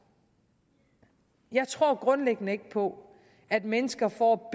jeg tror grundlæggende ikke på at mennesker får